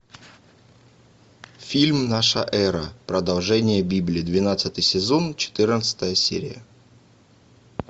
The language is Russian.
фильм наша эра продолжение библии двенадцатый сезон четырнадцатая серия